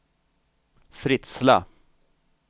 Fritsla